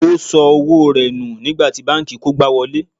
O san owó rẹ̀ nù nígbà tí banki kógbá wọlé.